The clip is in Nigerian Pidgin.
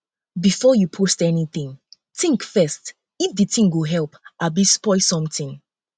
before you post anything think first if de thing go help abi spoil something